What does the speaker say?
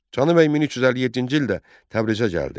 Canı Bəy 1357-ci ildə Təbrizə gəldi.